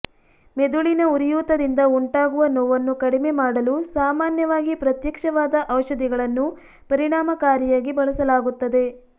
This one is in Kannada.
ಮೆದುಳಿನ ಉರಿಯೂತದಿಂದ ಉಂಟಾಗುವ ನೋವನ್ನು ಕಡಿಮೆ ಮಾಡಲು ಸಾಮಾನ್ಯವಾಗಿ ಪ್ರತ್ಯಕ್ಷವಾದ ಔಷಧಿಗಳನ್ನು ಪರಿಣಾಮಕಾರಿಯಾಗಿ ಬಳಸಲಾಗುತ್ತದೆ